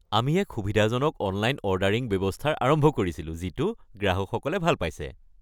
আমি এক সুবিধাজনক অনলাইন অৰ্ডাৰিং ব্যৱস্থাৰ আৰম্ভ কৰিছিলো যিটো গ্ৰাহকসকলে ভাল পাইছে।